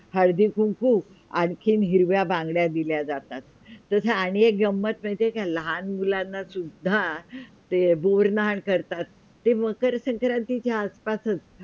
हळदी कुंकू आणखी हिरव्या बांगड्या दिल्या जातात तसे आणि एक गम्मत माहिती का लहान मुलांना सुद्धा गुड नहाण करतात ते मकर संक्रांतीच्या आस - पासच